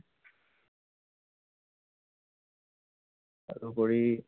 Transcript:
তাৰোপৰি